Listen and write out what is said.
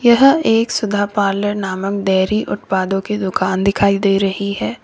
यह एक सुधा पार्लर नामक डेयरी उत्पादों की दुकान दिखाई दे रही है।